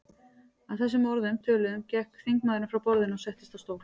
Að þessum orðum töluðum gekk þingmaðurinn frá borðinu og settist á stól.